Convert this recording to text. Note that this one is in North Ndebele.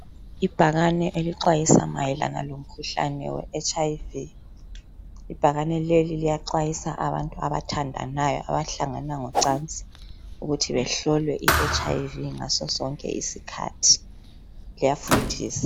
Ibhakane elixwayisa mayelana lomkhuhlane we HIV.Ibhakane leli liyaxwayisa abantu abathandanayo abahlangana ngocansi ukuthi behlolwe I HIV ngaso sonke isikhathi. Liyafundisa.